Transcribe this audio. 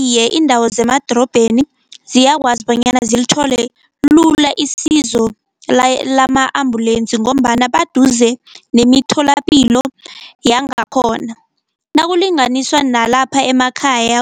Iye iindawo zemadorobheni ziyakwazi bonyana zilithole lula isizo lama-ambulensi, ngombana baduze nemitholapilo yangakhona. Nakulinganiswa nalapha emakhaya,